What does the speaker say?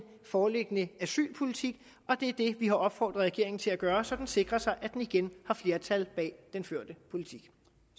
foreliggende asylpolitik og det er det vi har opfordret regeringen til at gøre så den sikrer sig at den igen har flertal bag den førte politik